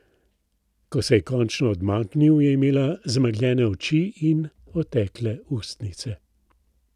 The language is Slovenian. Ko se je končno odmaknil, je imela zamegljene oči in otekle ustnice.